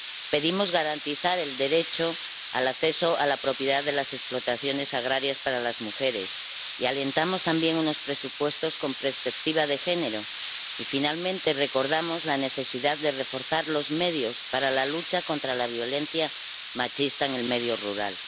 Pedimos garantizar el derecho al acceso a la propiedad de las explotaciones agrarias para las mujeres y alentamos también unos presupuestos con perspectiva de género y, finalmente, recordamos la necesidad de reforzar los medios para la lucha contra la violencia machista en el medio rural.